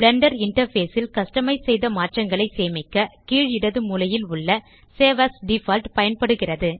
Blender interface ல் customise செய்த மாற்றங்களை சேமிக்க கீழ் இடது மூலையில் உள்ள சேவ் ஏஎஸ் டிஃபால்ட் பயன்படுகிறது